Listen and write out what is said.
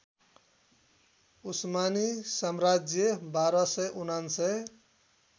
उस्मानी साम्राज्य १२९९